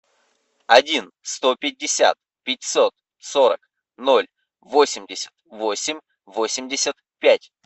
один сто пятьдесят пятьсот сорок ноль восемьдесят восемь восемьдесят пять